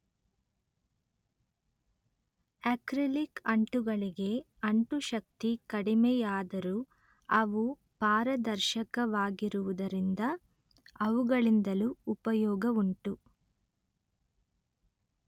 acrylic ಅಂಟುಗಳಿಗೆ ಅಂಟುಶಕ್ತಿ ಕಡಿಮೆಯಾದರೂ ಅವು ಪಾರದರ್ಶಕವಾಗಿರುವುದರಿಂದ ಅವುಗಳಿಂದಲೂ ಉಪಯೋಗವುಂಟು